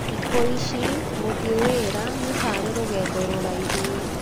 Thikũ ici, gũthiĩ wĩra nĩ ta arĩ rũgendo rũraihu.